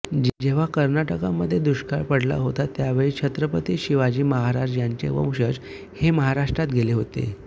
जेव्हा कर्नाटकमध्ये दुष्काळ पडला होता त्यावेळेच छत्रपती शिवाजी महाराज यांचे वंशज हे महाराष्ट्रात गेले होते